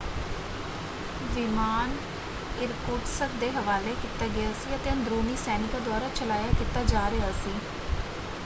ਵਿਮਾਨ Irkutsk ਦੇ ਹਵਾਲੇ ਕੀਤਾ ਗਿਆ ਸੀ ਅਤੇ ਅੰਦਰੂਨੀ ਸੈਨਿਕਾਂ ਦੁਆਰਾ ਚਲਾਇਆ ਕੀਤਾ ਜਾ ਰਿਹਾ ਸੀ।